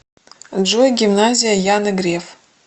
джой гимназия яны греф